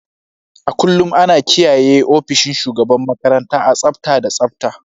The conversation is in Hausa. A kullum ana kiyaye ofishin shugaban makaranta a tsafta da tsabta.